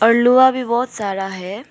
पलुवा भी बहोत सारा है।